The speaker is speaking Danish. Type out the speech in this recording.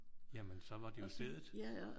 Jamen så var det jo stedet